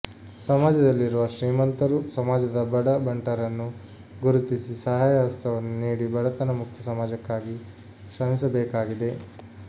ಸಮಾಜದಲ್ಲಿ ರುವ ಶ್ರೀಮಂತರು ಸಮಾಜದ ಬಡ ಬಂಟರನ್ನು ಗುರುತಿಸಿ ಸಹಾಯ ಹಸ್ತವನ್ನು ನೀಡಿ ಬಡತನ ಮುಕ್ತ ಸಮಾಜಕ್ಕಾಗಿ ಶ್ರಮಿಸಬೇಕಾಗಿದೆ